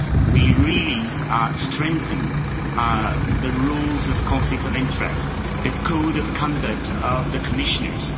We really strengthened the rules on conflicts of interest, the code of conduct of the Commissioners.